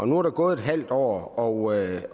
nu er der gået et halvt år og